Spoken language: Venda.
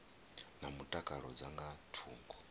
na mutakalo dza nga thungo